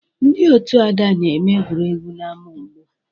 Ndị otu Ada na-eme egwuregwu n'ámá ugbu a